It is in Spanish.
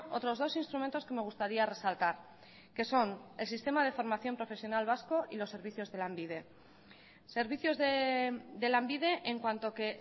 otros dos instrumentos que me gustaría resaltar que son el sistema de formación profesional vasco y los servicios de lanbide servicios de lanbide en cuanto que